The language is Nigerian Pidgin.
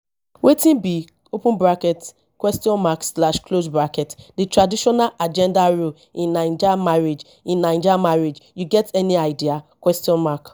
wetin be open bracket question mark slash close bracket di traditional agenda role in naija marriage in naija marriage you get any idea question mark